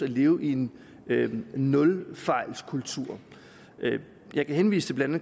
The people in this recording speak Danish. leve i en nulfejlskultur jeg kan henvise til blandt